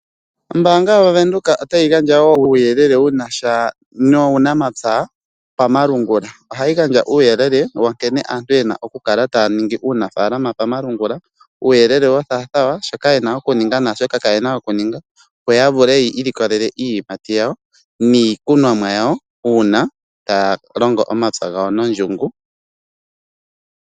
Ombaanga yaVenduka otayi gandja wo uuyelele wu na sha nuunamapya pamalungula. Ohayi gandja uuyelele wa nkene aantu ye na okukala taya ningi uunafaalama pamalungula, uuyelele wo thaathaa waa shoka ye na okuninga naa shoka kaye na okuninga, opo ya vule yi ilikolele iiyimati yawo niikunomwa yawo uuna taya longo omapya gawo nondjungu.